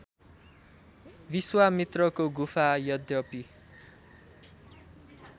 विश्वामित्रको गुफा अद्यपि